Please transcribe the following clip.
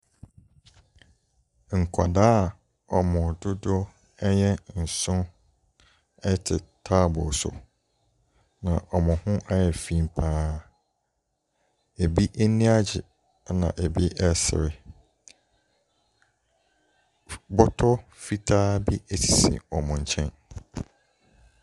Nkwadaa a wɔn dodoɔ yɛ nson te taaboɔ so, na wɔn ho ayɛ fi pa ara. Ɛbi ani agye, ɛna ɛbi resere. F bɔtɔ fitaa bi sisi wɔn nkyɛn.